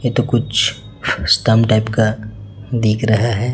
ये तो कुछ स्तंभ टाइप का दिख रहा है।